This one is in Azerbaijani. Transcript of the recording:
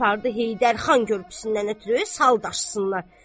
Apardı Heydər xan körpüsündən ötrü saldaşsınlar.